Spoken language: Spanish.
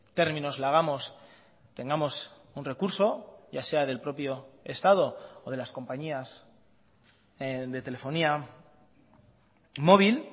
términos la hagamos tengamos un recurso ya sea del propio estado o de las compañías de telefonía móvil